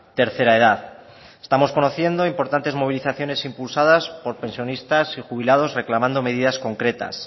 tercera edad estamos conociendo importantes movilizaciones impulsadas por pensionistas y jubilados reclamando medidas concretas